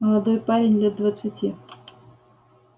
молодой парень лет двадцати